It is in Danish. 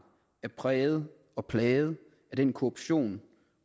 er præget og plaget af den korruption